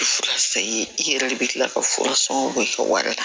Fura sayi i yɛrɛ de bɛ kila ka fura sɔngɔ bɔ i ka wari la